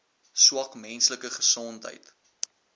swak menslike gesondheid